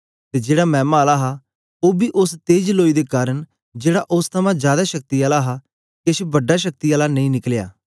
ते जेड़ा मैमा आला हा ओ बी ओस तेज लोई दे कारन जेड़ा ओस थमां जादै शक्ति आला हा केछ बड़ा शक्ति आला नेई निकलया